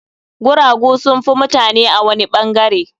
Guragu sun fi mutane a wani ɓangare.